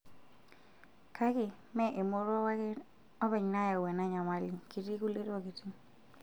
Kake mee emoruao ake openy nayau ena nyamali, ketii kutie tokitin.